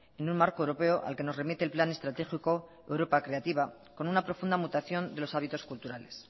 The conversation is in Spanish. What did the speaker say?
en un marco europeo al que nos remite el plan estratégico europa creativa con una profunda mutación de los hábitos culturales